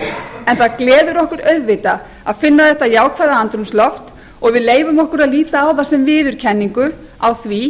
en það gleður okkur auðvitað að finna þetta jákvæða andrúmsloft og við leyfum okkur að líta á það sem viðurkenningu á því